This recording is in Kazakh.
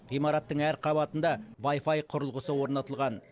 ғимараттың әр қабатында вайфай құрылғысы орнатылған